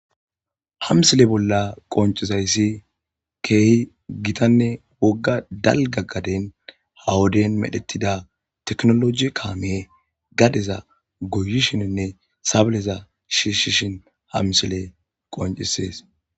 hamsile bolla qoncizayssi keehi gitanne wogga dalgaggaden hawoden medhetida teknoloji kaame gadeza goyishininne sableza shiishishin hamsile qoncisees